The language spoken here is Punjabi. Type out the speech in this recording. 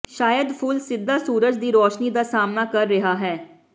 ਸ਼ਾਇਦ ਫੁੱਲ ਸਿੱਧਾ ਸੂਰਜ ਦੀ ਰੌਸ਼ਨੀ ਦਾ ਸਾਹਮਣਾ ਕਰ ਰਿਹਾ ਹੈ